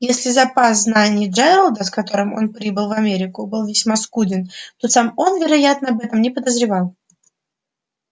если запас знаний джералда с которым он прибыл в америку был весьма скуден то сам он вероятно об этом не подозревал